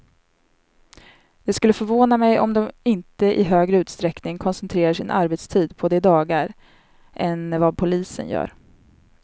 Det skulle förvåna mig om de inte i högre utsträckning koncentrerar sin arbetstid på de dagarna än vad polisen gör.